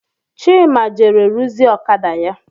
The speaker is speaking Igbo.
Chima jere ruzie ọkada ya